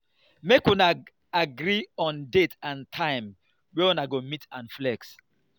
make una agree on date and time wey una go meet and flex